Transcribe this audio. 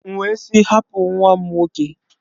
M wee sị, hapụ nwa m nwoke!